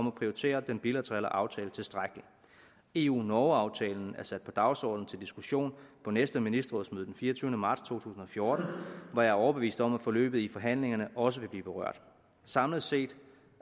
at prioritere den bilaterale aftale tilstrækkeligt eu norge aftalen er sat på dagsordenen til diskussion på næste ministerrådsmøde den fireogtyvende marts to tusind og fjorten hvor jeg er overbevist om at forløbet i forhandlingerne også vil blive berørt samlet set